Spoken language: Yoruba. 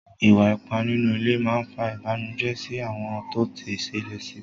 Ìwà ipá nínú ilé má fa Ìbànùjẹ́ sí àwọn tó ti ṣẹlẹ̀ sí